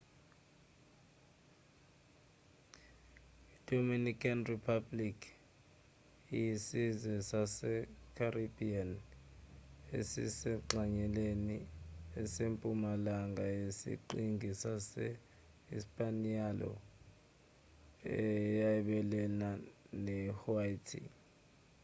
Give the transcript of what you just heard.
i-dominican republic ispanish: república dominicana iyisizwe sase-caribbean esisengxenyeni esempumalanga yesiqhingi sase-hispaniola eyabelana ne-haiti